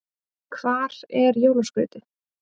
Hvar er jólaskrautið?